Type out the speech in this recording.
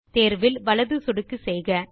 தேர்வில் வலது சொடுக்கு செய்க